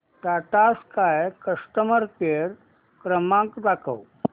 Tata Sky customer care क्रमांक दाखवा